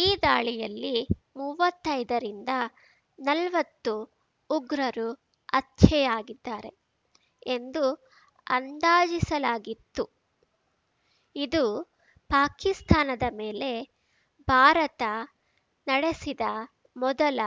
ಈ ದಾಳಿಯಲ್ಲಿ ಮುವ್ವತ್ತೈದರಿಂದ ನಲ್ವತ್ತು ಉಗ್ರರು ಹತ್ಯೆ ಯಾಗಿದ್ದಾರೆ ಎಂದು ಅಂದಾಜಿಸಲಾಗಿತ್ತು ಇದು ಪಾಕಿಸ್ತಾನದ ಮೇಲೆ ಭಾರತ ನಡೆಸಿದ ಮೊದಲ